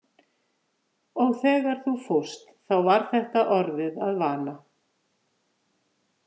Og þegar þú fórst þá var þetta orðið að vana.